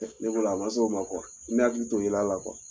Ne bolo a ma s'o ma kuwa ne hakili t'o yel'ala kuwa